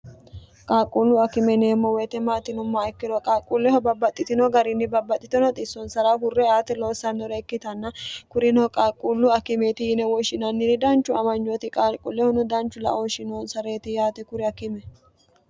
qaaqquullu akimeneemmo woyite maatinomma ikkiro qaaqquulleho babbaxxitino garinni babbaxxitino xissonsara hurre aate loossannore ikkitanna kurino qaqquullu akimeeti yine woshshinanniri danchu amanyooti qaalquullehono danchu laooshinoonsa'reeti yaate kuri akime